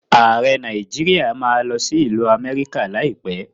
Ààrẹ Nàíjíríà má a lọ sí ìlú Amẹ́ríkà láìpẹ́.